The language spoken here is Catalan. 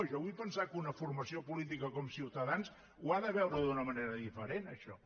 jo vull pensar que una formació política com ciutadans ho ha de veure d’una manera diferent això